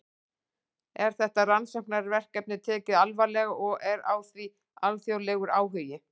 Er þetta rannsóknarefni tekið alvarlega og er á því alþjóðlegur áhugi?